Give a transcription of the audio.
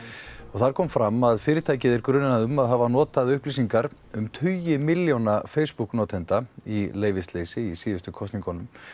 þar kom fram að fyrirtækið er grunað um að hafa notað upplýsingar um tugi milljóna Facebook notenda í leyfisleysi í síðustu kosningum